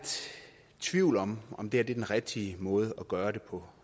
tvivl om om det her er den rigtige måde at gøre det på